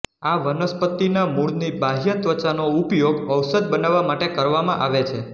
આ વનસ્પતિનાં મૂળની બાહ્ય ત્વચાનો ઉપયોગ ઔષધ બનાવવા માટે કરવામાં આવે છે